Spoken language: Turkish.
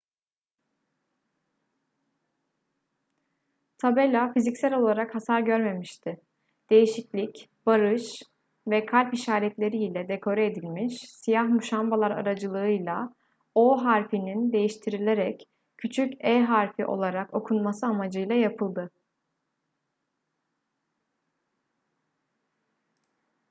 tabela fiziksel olarak hasar görmemişti değişiklik barış ve kalp işaretleri ile dekore edilmiş siyah muşambalar aracılığıyla o harfinin değiştirilerek küçük e harfi olarak okunması amacıyla yapıldı